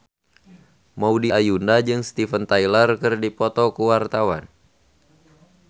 Maudy Ayunda jeung Steven Tyler keur dipoto ku wartawan